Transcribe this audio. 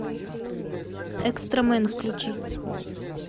экстрамен включи